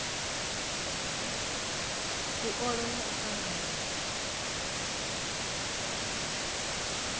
u ola na u tanganya